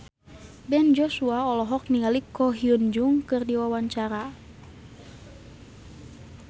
Ben Joshua olohok ningali Ko Hyun Jung keur diwawancara